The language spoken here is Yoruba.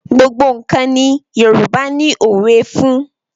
Gbogbo nǹkan ni Yorùbá ni òwe fún.